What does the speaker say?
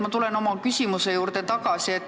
Ma tulen oma küsimuse juurde tagasi.